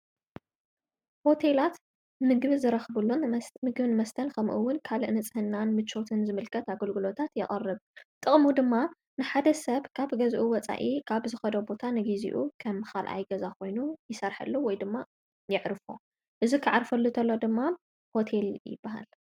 ሆቴላት ምግብ ዝረኽቡሎን ምግብ ንመስተል ከምኡውን ካል እንጽሕናን ምቾትን ዝምልቀት ኣገልግሎታት የቐርብ ጥቕሙ ድማ ንሓደ ሰብ ካብ ገዝኡ ወፃኢ ቃብ ዝኸደ ቦታ ንጊዜኡ ኸም ኻልኣይ ገዛ ኾይኑ ይሠርሐለ ወይ ድማ የዕርፎ እዝ ኽዓርፈሉ እተሎ ድማ ሆቴል ይበሃል።